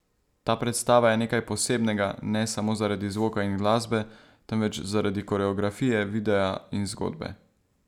Ta predstava je nekaj posebnega ne samo zaradi zvoka in glasbe, temveč zaradi koreografije, videa in zgodbe.